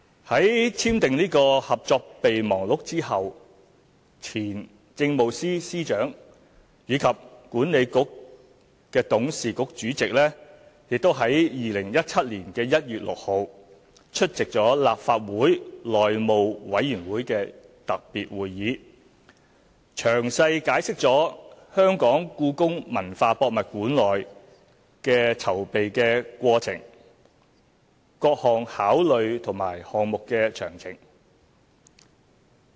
在簽訂《合作備忘錄》後，前政務司司長暨西九管理局董事局主席即於2017年1月6日出席立法會內務委員會特別會議，詳細解釋故宮館的籌備過程、各項考慮和項目詳情。